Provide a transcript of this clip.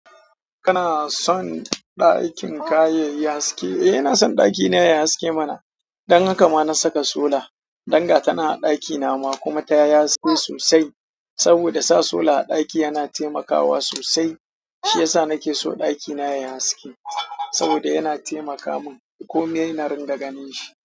Kana son ɗakin ka yayi haske? Eh ina son ɗakina yayi haske mana. Don haka ma na saka sola. Dan gatanan a ɗaki na ma kuma ta yayi haske sosai. Saboda sa sola a ɗaki yana taimakawa sosai, shi ya sa nake so ɗakina yayi haske. Saboda yana taimaka mun komai na ringa ganin shi.